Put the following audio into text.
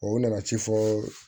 O nana ci fɔ